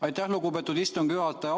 Aitäh, lugupeetud istungi juhataja!